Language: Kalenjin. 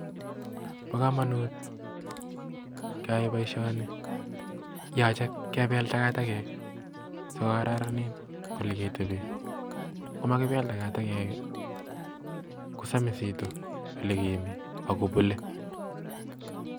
Bo komonut keyai boishoni, yoche kebel takatakek sikokararan ole keteben, yon makibel takatek kosomisitu ole kemi ak kokwer gee